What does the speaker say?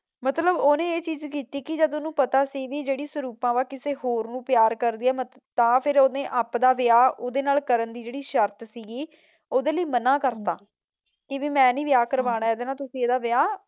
ਮਤਲਬ ਉਹਨੇ ਇਹ ਚੀਜ਼ ਕੀਤੀ ਕੀ ਜਦ ਉਹਨੂੰ ਪਤਾ ਸੀ ਕੀ ਜਿਹੜੀ ਸੁਰੂਪਾ ਕਿਸੇ ਰੋਕ ਨੂੰ ਪਿਆਰ ਕਰਦੀ ਹੈ ਤਾਂ ਫਿਰ ਉਹਨੇ ਆਪ ਦਾ ਵਿਆਹ ਉਦੇਂ ਨਾਲ ਕਰਨ ਦੀ ਜਿਹੜੀ ਸ਼ਰਤ ਸੀਗੀ ਉਦੇਂ ਲਈ ਮਨਾਂ ਕਰਤਾ ਕੇ ਵਈ ਮੈਂ ਨੀ ਵਿਆਹ ਕਰਵਾਨਾਂ ਇਦੇ ਨਾਲ ਤੂਸੀ ਇੱਦਾਂ ਵਿਆਹ